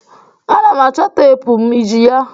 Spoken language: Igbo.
Ana m achọ teepu m. Iji ya?